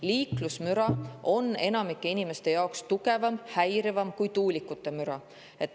Liiklusmüra on enamiku inimeste jaoks tugevam ja häirivam kui tuulikute müra.